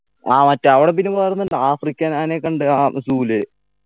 ആ മറ്റേ അവിടെ പിന്നെ വേറെ ഒന്നുണ്ട് african ആനയൊക്കെ ഉണ്ട് ആ zoo ല്